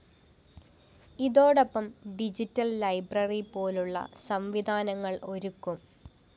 ഇതോടൊപ്പം digital library പോലുളള സംവിധാനങ്ങളും ഒരുക്കും